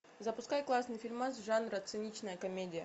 запускай классный фильмас жанра циничная комедия